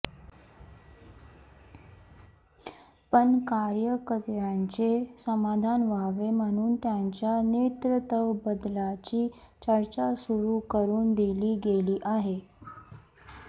पण कार्यकर्त्यांचे समाधान व्हावे म्हणून त्यांच्या नेतृत्वबदलाची चर्चा सुरू करून दिली गेली आहे